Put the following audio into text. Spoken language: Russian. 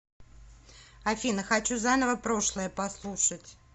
афина хочу заново прошлое послушать